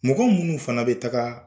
Mɔgɔ munnu fana bɛ taga.